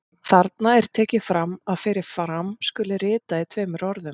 Þarna er tekið fram að fyrir fram skuli ritað í tveimur orðum.